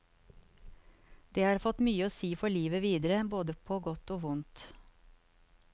Det har fått mye å si for livet videre, både på godt og vondt.